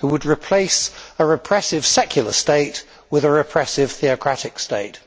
who would replace a repressive secular state with a repressive theocratic state.